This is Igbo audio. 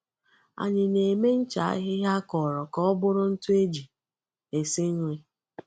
Anyị na-eme ncha ahịhịa akọrọ ka ọ bụrụ ntụ eji esi nri.